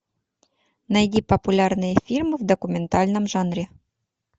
найди популярные фильмы в документальном жанре